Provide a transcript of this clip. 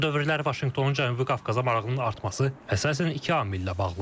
Son dövrlər Vaşinqtonun Cənubi Qafqaza marağının artması əsasən iki amillə bağlıdır.